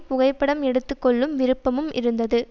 புகைப்படம் எடுத்து கொள்ளும் விருப்பமும் இருந்தது